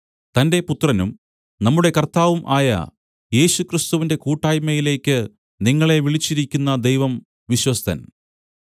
തന്റെ പുത്രനും നമ്മുടെ കർത്താവും ആയ യേശുക്രിസ്തുവിന്റെ കൂട്ടായ്മയിലേക്ക് നിങ്ങളെ വിളിച്ചിരിക്കുന്ന ദൈവം വിശ്വസ്തൻ